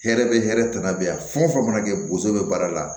Hɛrɛ be hɛrɛ tana bɛ yan fɛn o fɛn mana kɛ bozo be baara la